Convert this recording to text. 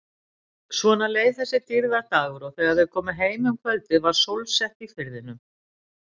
Svona leið þessi dýrðardagur og þegar þau komu heim um kvöldið var sólsett í firðinum.